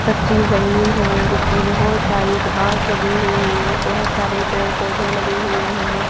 कच्ची जमीन है जिस परे बहुत सारी घास लगी हुई है बहुत सारे पेड़-पौधे लगे हुए हैं।